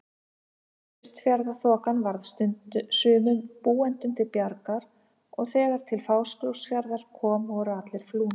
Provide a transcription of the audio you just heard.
Austfjarðaþokan varð sumum búendum til bjargar og þegar til Fáskrúðsfjarðar kom voru allir flúnir.